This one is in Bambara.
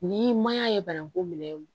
Ni maɲan ye bananku minɛ